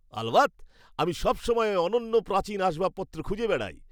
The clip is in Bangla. আলবাত! আমি সবসময় অনন্য প্রাচীন আসবাবপত্র খুঁজে বেড়াই।